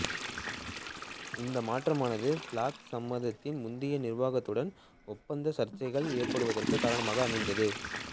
இந்த மாற்றமானது பிளாக் சப்பாத்தின் முந்தைய நிர்வாகத்துடன் ஒப்பந்தப் சர்ச்சைகள் ஏற்படுவதற்கு காரணமாக அமைந்தது